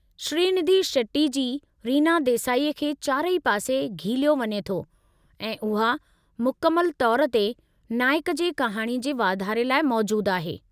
श्रीनिधी शेट्टी जी रीना देसाई खे चारई पासे गिहिलियो वञे थो ऐं उहा मुकमलु तौर ते नाइक जी कहाणी जे वाधारे लाइ मौजूदु आहे।